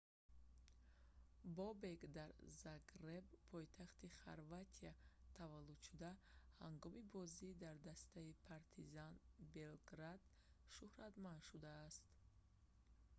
бобек дар загреб пойтахти хорватия таваллуд шуда ҳангоми бозӣ дар дастаи партизан белград шуҳратманд шудааст